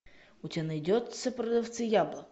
у тебя найдется продавцы яблок